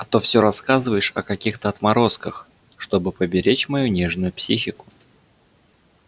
а то всё рассказываешь о каких-то отморозках чтобы поберечь мою нежную психику